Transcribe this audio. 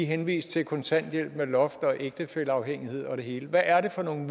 henvist til kontanthjælp med loft og ægtefælleafhængighed og det hele hvad er det for nogle